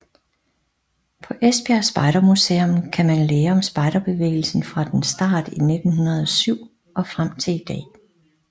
På Esbjerg spejdermuseum kan man lære om spejderbevægelsen fra dens start i 1907 og frem til i dag